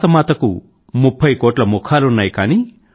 భారతమాతకు ముఫ్ఫై కోట్ల ముఖాలున్నాయి